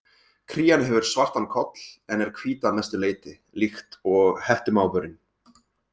Krían hefur svartan koll en er hvít að mestu leyti, líkt og hettumávurinn.